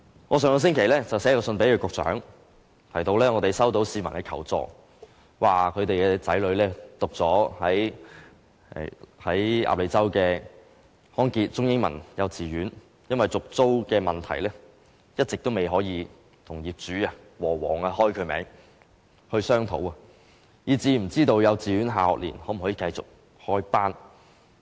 我上星期致函局長，提到我們收到市民求助，指其子女報讀的康傑中英文幼稚園，因為續租問題一直未能與業主——和記黃埔有限公司——商討，以致不知道幼稚園下學年能否繼續開班。